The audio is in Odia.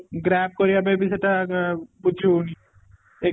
graph କରିବା ପାଇଁ ବି ସେଇଟା ଆ ବୁଝି ହଉନି ex